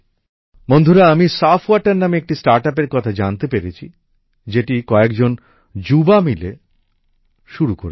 বন্ধুরা আমি সাফ ওয়াটার নামে একটি স্টার্টাপের কথা জানতে পেরেছি যেটা কয়েকজন যুবক মিলে শুরু করেছেন